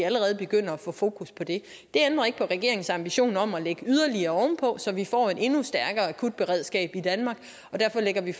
allerede begynder at få fokus på det det ændrer ikke på regeringens ambition om at lægge yderligere ovenpå så vi får et endnu stærkere akutberedskab i danmark og derfor lægger vi